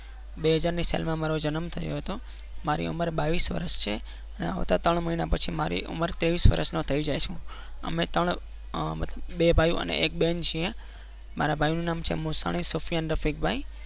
બે હાજર ની સાલમાં મારો જન્મ થયો હતો મારી ઉંમર બાવીસ વર્ષ છે અને ત્રણ મહિના પછી હું ત્રેવીસ વર્ષનો થઈ જઈશ અમે ત્રણ મતલબ બે ભાઈઓ અને એક બેન છીએ મારા ભાઈનું નામ છે મોસાણી સુફિયાન રફીકભાઈ